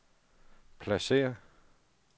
pladsér